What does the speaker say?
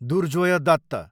Durjoy Dutt